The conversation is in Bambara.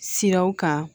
Siraw kan